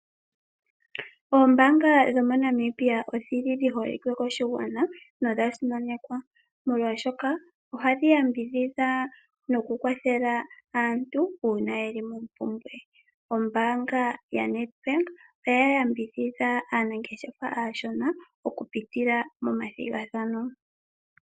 Oombanga dhomoNamibia odhili dhiholike koshigwana nodha simanekwa molwaashoka ohadhi yambidhidha nokukwathela aantu uuna yeli mompumbwe. Ombaanga yaNedbank oya yambidhidha aanangeshefa aashona okupitila momathigathano.